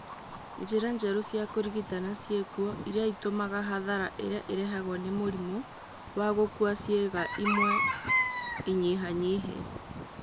Njĩra njerũ cia kũrigitana ciĩkuo iria itũmaga hathara ĩrĩa ĩrehagwo nĩ mũrimũ wa gũkua ciĩga imwe ĩnyihanyihe